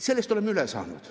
Sellest oleme üle saanud.